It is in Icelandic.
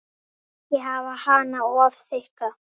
Ekki hafa hana of þykka.